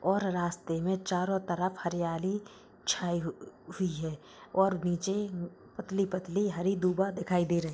और रास्ते में चारों तरफ हरियाली छै छायि हुई हैऔर नीचे पतली-पतली हरी दूबा दिखाई दे रही है।